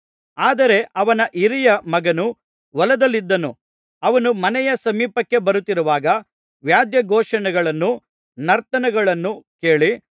ಆದರೆ ಅವನ ಹಿರಿಯ ಮಗನು ಹೊಲದಲ್ಲಿದ್ದನು ಅವನು ಮನೆಯ ಸಮೀಪಕ್ಕೆ ಬರುತ್ತಿರುವಾಗ ವಾದ್ಯಘೋಷಗಳನ್ನೂ ನರ್ತನಗಳನ್ನು ಕೇಳಿ